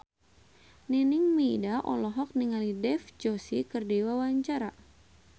Nining Meida olohok ningali Dev Joshi keur diwawancara